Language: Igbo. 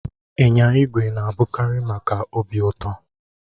Ịnya igwe na-abụkarị maka obi ụtọ